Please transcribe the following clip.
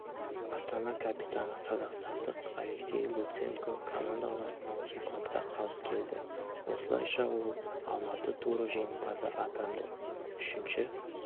астана капитаны қазақстандық алексей луценкокомандаласынан секундқа қалып келді осылайша ол алматы туры жеңімпазы атанды үшінші